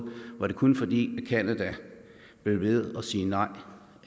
var det kun fordi canada blev ved at sige nej